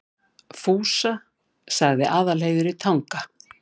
Fúsa, sagði Aðalheiður í Tanga.